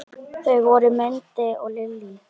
Þau voru Mundi og Lillý.